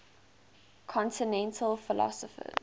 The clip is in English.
continental philosophers